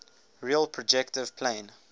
real projective plane